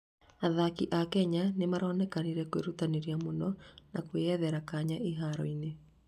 athaki a Kenya nĩmaronekire kwĩrũtanĩria mũno na kwĩyethera kanya iharo-inĩ